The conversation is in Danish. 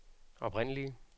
oprindelige